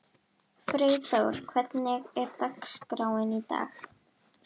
Freyþór, hvernig er dagskráin í dag?